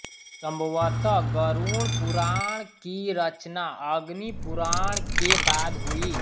सम्भवतः गरुणपुराण की रचना अग्निपुराण के बाद हुई